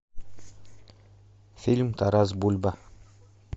фильм тарас бульба